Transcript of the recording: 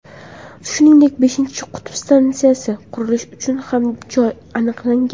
Shuningdek, beshinchi qutb stansiyasi qurilishi uchun ham joy aniqlangan.